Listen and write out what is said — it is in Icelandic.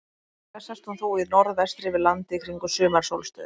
Líklega sest hún þó í norðvestri yfir landi kringum sumarsólstöður.